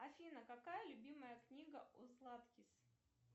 афина какая любимая книга у златкис